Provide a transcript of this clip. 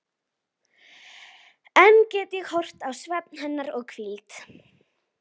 Enn get ég horft á svefn hennar og hvíld.